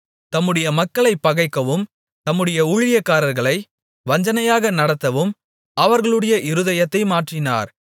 தம்முடைய மக்களைப் பகைக்கவும் தம்முடைய ஊழியக்காரர்களை வஞ்சனையாக நடத்தவும் அவர்களுடைய இருதயத்தை மாற்றினார்